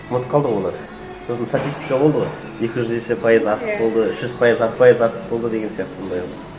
ұмытып қалды ғой олар сосын статистика болды ғой екі жүз есе пайыз артық болды үш жүз пайыз пайыз артық болды деген сияқты сондай